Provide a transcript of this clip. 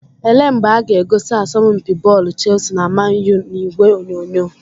Ele mgbe aga egosi asọmpi bọọlụ Chelsea na Man U n'ìgwè onyonyo?